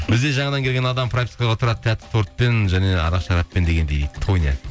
бізде жаңадан келген адам пропискаға тұрады тәтті тортпен және арақ шараппен дегендей дейді тоня